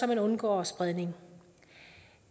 man undgår spredning